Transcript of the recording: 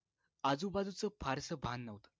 आजूबाजूचं फार्स भान न्हवत